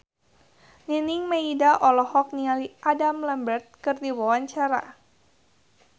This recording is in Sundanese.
Nining Meida olohok ningali Adam Lambert keur diwawancara